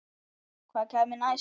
Hvað kæmi næst?